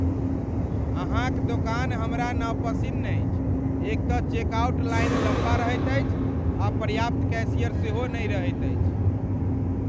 अहाँ क दोकान हमरा नपसिन्न अछि एक तँ चेकआउट लाइन लम्बा रहैत अछि आ पर्याप्त कैशियर सेहो नहि रहैत अछि।